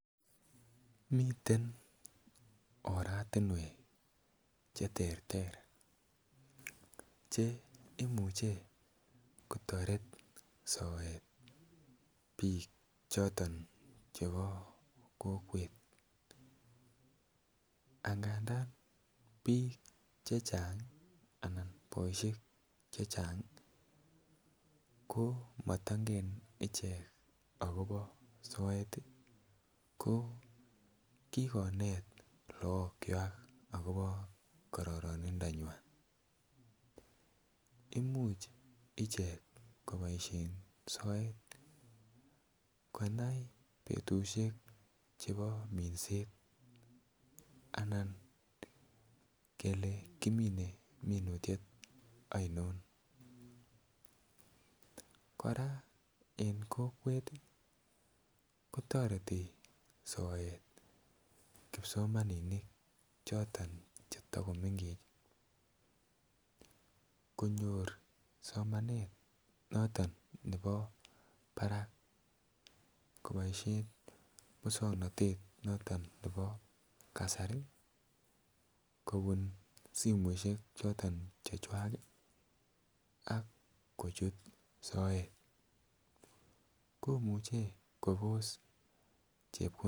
Miten oratinwek Che terter Che imuche kotoret soet bik choton chebo kokwet angadan bik chechang anan boisiek Che Chang ko mato ingen akobo soet ko ki konet lagokwak agobo karoronindanywa Imuch ichek koboisien soet konai betusiek chebo minset anan kele kimine minutiet ainon kora en kokwet kotoreti soet kipsomaninik choton Che takomengech konyor somanet noton nebo barak koboisien moswoknatet noton nebo kasari kobun simoisiek choton chechwak ak kochut soet komuche kobos chepkondok Che kiboisien